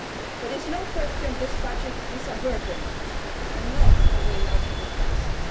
There is no question that this budget is a burden and not a way out of the crisis.